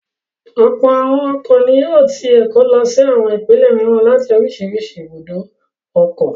Ọ̀pọ̀ àwọn ọkọ̀ ni yóò ti Èkó lọ sí àwọn ìpínlẹ̀ mìíràn láti oríṣiríṣi ibùdó ọkọ̀.